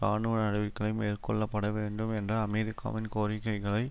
இராணுவ நடவடிக்களை மேற்கொள்ள பட வேண்டும் என்ற அமெரிக்காவின் கோரிக்கைகளை